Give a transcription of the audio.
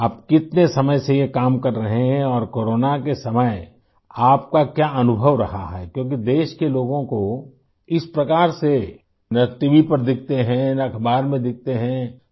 آپ کتنے وقت سے یہ کام کر رہے ہیں اور کو رونا کے وقت آپ کا تجربہ کیسا رہا ہے کیونکہ ملک کے لوگوں کو اس طرح سے نہ ٹی وی پر دیکھتے ہیں، نہ اخبار میں دیکھتے ہیں